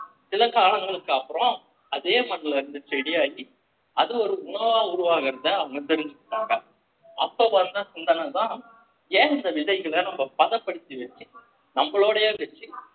சில காலங்களுக்கு அப்புறம் அதே மண்ணுல இருந்து செடியாகி அது ஒரு உணவா உருவாகுறத அவங்க தெரிஞ்சுப்பாங்க அப்பத்த வந்த சிந்தன தான் ஏன் இந்த விதைகளை நம்ம பதப்படுத்தி வச்சு நம்மளோடேயே வச்சு